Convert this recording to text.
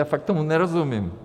Já fakt tomu nerozumím.